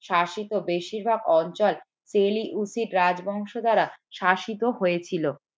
শাসিত বেশিরভাগ অঞ্চল রাজবংশ দ্বারা শাসিত হয়েছিল